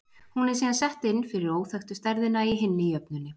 Hún er síðan sett inn fyrir óþekktu stærðina í hinni jöfnunni.